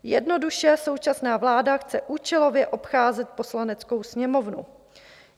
Jednoduše současná vláda chce účelově obcházet Poslaneckou sněmovnu.